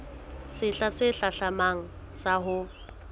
sehla se hlahlamang sa ho